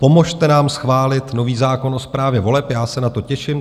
Pomozte nám schválit nový zákon o správě voleb, já se na to těším.